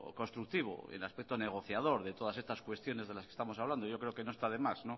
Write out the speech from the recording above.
constructivo en el aspecto negociador de todas estas cuestiones de las que estamos hablando yo creo que no está de más